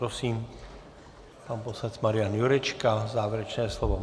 Prosím, pan poslanec Marian Jurečka, závěrečné slovo.